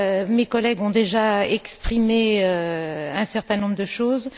Mes collègues ont déjà exprimé un certain nombre de choses.